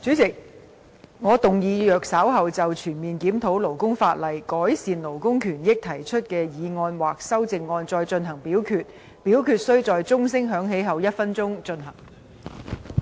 主席，我動議若稍後就"全面檢討勞工法例，改善勞工權益"所提出的議案或修正案再進行點名表決，表決須在鐘聲響起1分鐘後進行。